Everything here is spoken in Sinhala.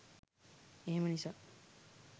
එහෙම නිසා.